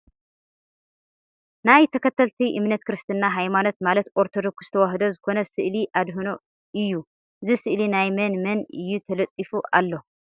ናይ ተከተልቲ እምነት ክርስትና ሃይማኖት ማለት ኦርቶዶክስ ተዋህዶ ዝኮነ ስእሊ ኣድህኖ እዩ እዚ ስእሊ ናይ መን መን እዩ ተለጢፉ ኣሎ ?